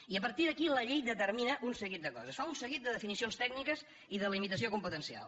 i a partir d’aquí la llei determina un seguit de coses fa un seguit de definicions tècniques i de limitació competencial